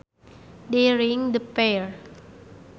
They ringed the pair